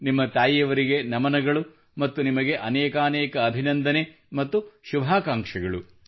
ನಿಮ್ಮ ತಾಯಿಯವರಿಗೆ ನಮನಗಳು ಮತ್ತು ನಿಮಗೆ ಅನೇಕಾನೇಕ ಅಭಿನಂದನೆ ಮತ್ತು ಶುಭಾಕಾಂಕ್ಷೆಗಳು